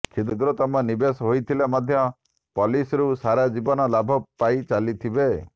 କ୍ଷୁଦ୍ରତମ ନିବେଶ ହୋଇଥିଲେ ମଧ୍ୟ ପଲିସିରୁ ସାରା ଜୀବନ ଲାଭ ପାଇଚାଲିଥିବେ